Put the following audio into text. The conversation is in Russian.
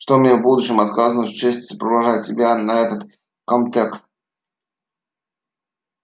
что мне в будущем отказано в чести сопровождать тебя на этот комтек